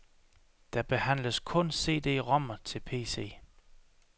Der behandles kun cd-rom'er til pc.